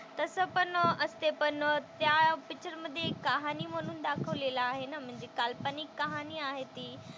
तसं पण असते पण त्या पिक्चरमधे एक कहाणी म्हणून दाखवलेलं आहे ना म्हणजे काल्पनिक कहाणी आहे ती.